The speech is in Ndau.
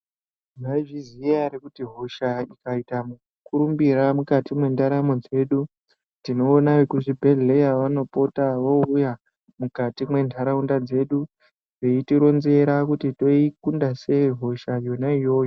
Maizviziya ere kuti hosha ikaita mukurumbira mukati mwendaramo dzedu tinoona vekuzvibhehleya vanopota voouya mukati mwendaraunda dzedu veitironzera kuti toikunda sei hosha yona iyoyo.